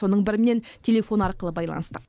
соның бірімен телефон арқылы байланыстық